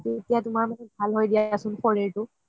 তেতিয়া তুমাৰ ভাল হয় দিয়াচোন শৰীৰটো